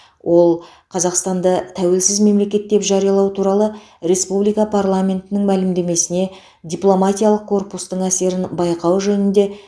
ол қазақстанды тәуелсіз мемлекет деп жариялау туралы республика парламентінің мәлімдемесіне дипломатиялық корпустың әсерін байқау жөнінде